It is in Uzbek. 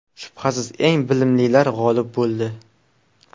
Shubhasiz, eng bilimlilar g‘olib bo‘ldi.